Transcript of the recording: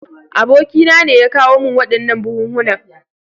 Abokina ne ya kawo min waɗannan buhunhunan.